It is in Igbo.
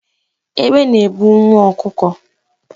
Egbe na-ebu nwa ọkụkọ.